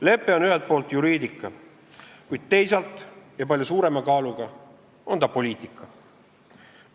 Lepe on ühelt poolt juriidika, kuid teisalt – ja palju suurema kaaluga – on ta poliitika.